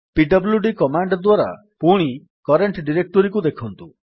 PWD command ଦ୍ୱାରା ପୁଣି current directory ଦେଖନ୍ତୁ